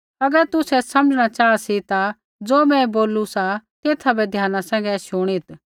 अगर तुसै समझ़णा चाहा सी ता ज़ो मैं बोलू सा तेथा बै ध्याना सैंघै शुणित्